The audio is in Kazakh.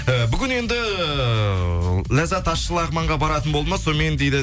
э бүгін енді ләззат ащы лағманға баратын болды ма сонымен дейді